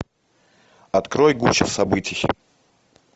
открой гуща событий